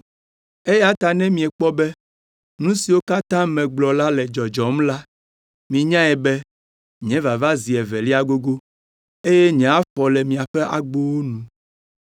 Eya ta ne miekpɔ be nu siwo katã megblɔ la le dzɔdzɔm la, minyae be nye vava zi evelia gogo eye nye afɔ le miaƒe agbowo nu.”